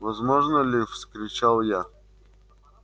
возможно ли вскричал я